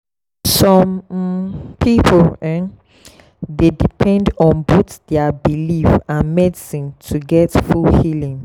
some um people um dey depend on both their belief and medicine to get full healing.